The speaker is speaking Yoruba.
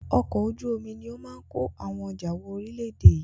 Ọkọ̀ ojú omi ni ó máa ń ko àwọn ọjà wọ ori ilẹ̀ èdè yìí